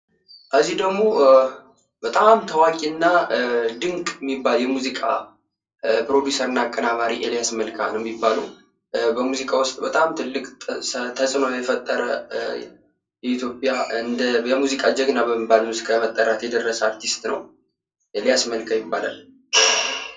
እዚህ ደሞ በጣም ታዋቂ እና ድንቅ የሚባል የሙዚቃ ፕሮዱሰር እና አቀናባሪ ኤሊያስ መልካ ነው ፤ በኢትዮጵያ ዉስጥ በጣም ተጽዕኖ የፈጠረ በጣም ጀግና የሚባል አርቲስት ነው ኤሊያስ መልካ ይባላል።